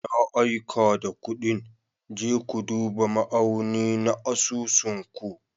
Na aika da kuɗin, je ku duba ma'auni na asusun ku.